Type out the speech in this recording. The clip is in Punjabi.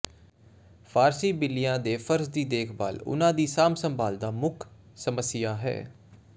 ਫ਼ਾਰਸੀ ਬਿੱਲੀਆਂ ਦੇ ਫ਼ਰਜ਼ ਦੀ ਦੇਖਭਾਲ ਉਹਨਾਂ ਦੀ ਸਾਂਭ ਸੰਭਾਲ ਦਾ ਮੁੱਖ ਸਮੱਸਿਆ ਹੈ